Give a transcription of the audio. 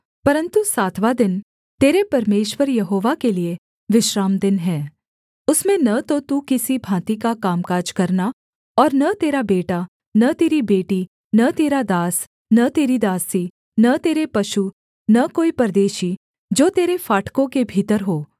परन्तु सातवाँ दिन तेरे परमेश्वर यहोवा के लिये विश्रामदिन है उसमें न तो तू किसी भाँति का कामकाज करना और न तेरा बेटा न तेरी बेटी न तेरा दास न तेरी दासी न तेरे पशु न कोई परदेशी जो तेरे फाटकों के भीतर हो